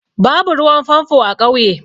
Babu ruwan famfo a ƙauye.